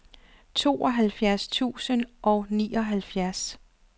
tooghalvfjerds tusind og nioghalvfjerds